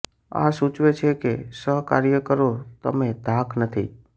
આ સૂચવે છે કે સહકાર્યકરો તમે ધાક નથી